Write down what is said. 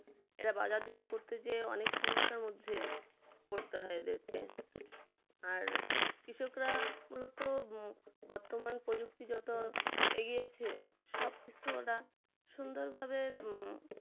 এরা বাজারজাত করতে গিয়ে অনেক সমস্যার মধ্যে পড়তে হয় এদেরকে আর কৃষকরা মূলত বর্তমান প্রযুক্তির যত এগিয়েছে সবকিছু ওরা সুন্দরভাবে উম